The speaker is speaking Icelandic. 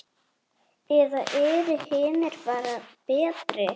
Eða eru hinir bara betri?